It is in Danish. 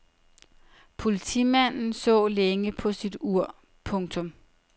Politimanden så længe på sit ur. punktum